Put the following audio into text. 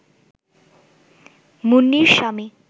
মুন্নির স্বামী